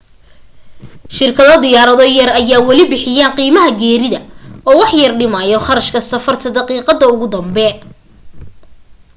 shirkado diyaarado yar ayaa wali bixiyaan qiimaha geerida oo waxyar dhimaayo kharashka safarta daqiiqada ugu dambe